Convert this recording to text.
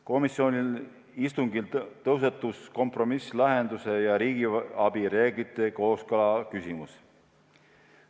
Komisjoni istungil tõusetus kompromisslahenduse ja riigiabi reeglite kooskõla küsimus.